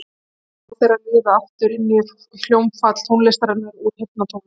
Og líkamar þeirra liðu aftur inn í hljómfall tónlistarinnar úr heyrnartólunum.